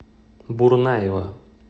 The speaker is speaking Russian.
бурнаева